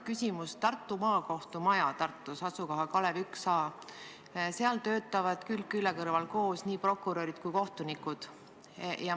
Tartu Maakohtu majas Kalevi tn 1a töötavad külg külje kõrval koos nii prokurörid kui ka kohtunikud.